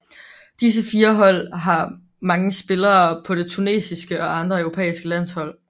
Disse 4 hold har mange spillere på det tunesiske og andre europæiske landshold